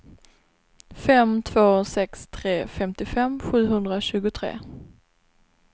fem två sex tre femtiofem sjuhundratjugotre